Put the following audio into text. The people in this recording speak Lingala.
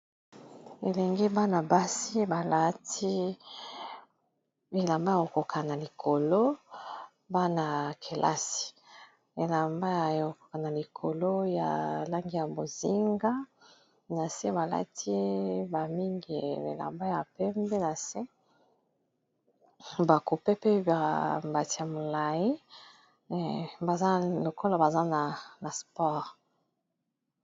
Elenge bana-basi balati elamba ya kokoka na likolo .bana ya kelasi elamba yakokoka na likolo ya langi ya bozinga na se balati bamingi elamba ya pembe na se bakupe pe ba mbati ya molayi baza lokola baza na spore.